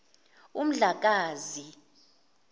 umdlakazi